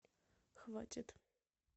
хватит